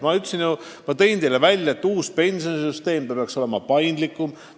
Ma märkisin teile, et uus pensionisüsteem peaks olema paindlikum.